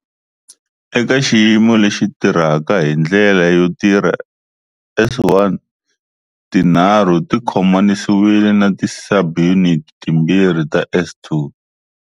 Eka xiyimo lexi tirhaka hi ndlela yo tirha, S1 tinharhu ti khomanisiwile na ti subunits timbirhi ta S2.